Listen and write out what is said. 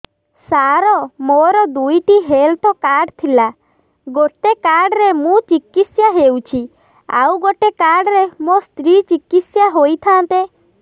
ସାର ମୋର ଦୁଇଟି health card ଥିଲା ଗୋଟେ କାର୍ଡ ରେ ମୁଁ ଚିକିତ୍ସା ହେଉଛି ଆଉ ଗୋଟେ କାର୍ଡ ରେ ମୋ ସ୍ତ୍ରୀ ଚିକିତ୍ସା ହୋଇଥାନ୍ତେ